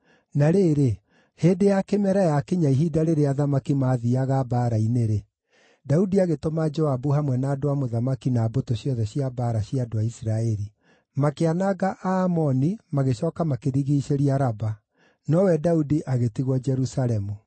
Na rĩrĩ, hĩndĩ ya kĩmera yaakinya ihinda rĩrĩa athamaki maathiiaga mbaara-inĩ-rĩ, Daudi agĩtũma Joabu hamwe na andũ a mũthamaki na mbũtũ ciothe cia mbaara cia andũ a Isiraeli. Makĩananga Aamoni magĩcooka makĩrigiicĩria Raba. Nowe Daudi agĩtigwo Jerusalemu.